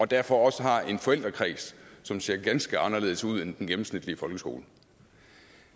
derfor også har en forældrekreds som ser ganske anderledes ud end i den gennemsnitlige folkeskole